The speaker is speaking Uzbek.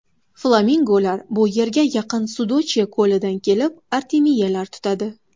Flamingolar bu yerga yaqin Sudochye ko‘lidan kelib, artemiyalar tutadi.